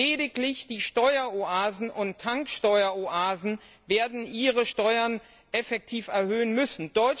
Lediglich die Steueroasen und Tanksteueroasen werden ihre Steuern effektiv erhöhen müssen.